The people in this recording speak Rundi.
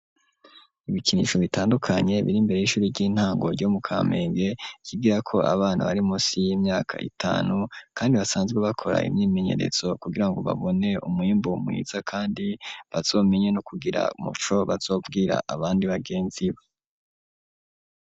Ibikinisho bitandukanye biri imbere y'ishuri ry'intango ryo mu kamenge ryigirako abana bari munsi y'imyaka itanu kandi basanzwe bakora imyimenyeretso kugirango babone umwimbu mwiza kandi bazomenye no kugira umuco bazobwira abandi bagenzi babo.